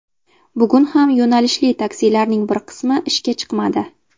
Bugun ham yo‘nalishli taksilarning bir qismi ishga chiqmadi.